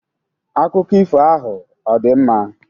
Akụkọ ifo ahụ ọ̀ dị mma?